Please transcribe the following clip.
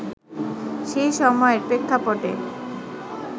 সেই সময়ের প্রেক্ষাপটে